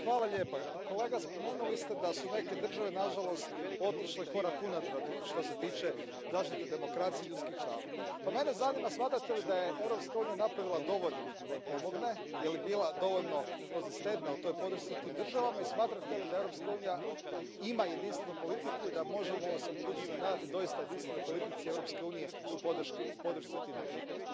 Poštovana predsjedavajuća, kolega spomenuli ste da su neke države nažalost otišle korak unatrag što se tiče zaštite demokracije i ljudskih prava. Mene zanima smatrate li da je Europska unija napravila dovoljno da im pomogne, je li bila dovoljno konzistentna u toj podršci tim državama i smatrate li da Europska unija ima jedinstvenu politiku i da se možemo u budućnosti nadati doista jedinstvenoj politici Europske unije u podršci tim državama?